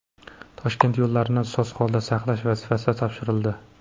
Toshkent yo‘llarini soz holda saqlash vazifasi topshirildi.